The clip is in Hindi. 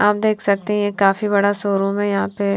आप देख सकते है ये काफी बड़ा शोरूम है यहां पर--